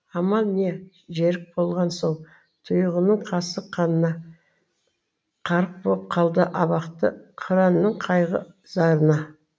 амал не жерік болған соң тұйғынның қасық қанына қарық боп қалды абақты қыранның қайғы зарына